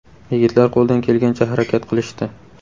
Yigitlar qo‘ldan kelgancha harakat qilishdi.